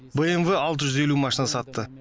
бмв алты жүз елу машина сатты